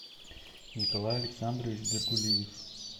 николай александрович беркулиев